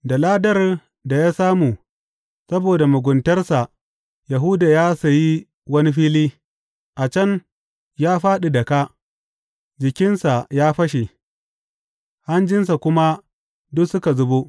Da ladar da ya samu saboda muguntarsa Yahuda ya sayi wani fili; a can ya fāɗi da kā, jikinsa ya fashe, hanjinsa kuma duk suka zubo.